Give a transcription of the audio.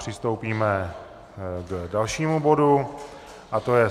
Přistoupíme k dalšímu bodu a tím je